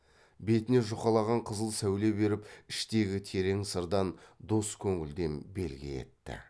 бетіне жұқалаған қызыл сәуле беріп іштегі терең сырдан дос көңілден белгі етті